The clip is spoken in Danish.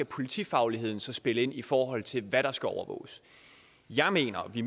politifagligheden så skal spille ind i forhold til hvad der skal overvåges jeg mener og i